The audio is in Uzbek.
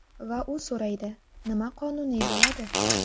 Va u so‘raydi: nima qonuniy bo‘ladi?